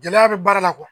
Gɛlɛya bɛ baara la